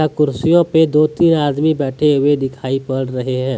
कुर्सियों पे दो तीन आदमी बैठे हुए दिखाई पड़ रहे है।